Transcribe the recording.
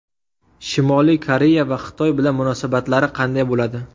Shimoliy Koreya va Xitoy bilan munosabatlari qanday bo‘ladi.